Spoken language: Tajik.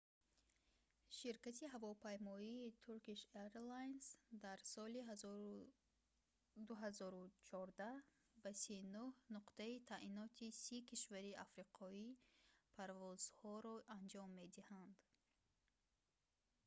ширкати ҳавопаймоии turkish airlines дар соли 2014 ба 39 нуқтаи таъиноти 30 кишвари африқоӣ парвозҳоро анҷом медиҳанд